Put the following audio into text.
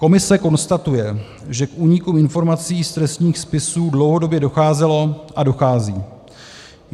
Komise konstatuje, že k úniku informací z trestních spisů dlouhodobě docházelo a dochází.